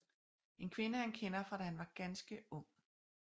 En kvinde han kender fra da han var ganske ung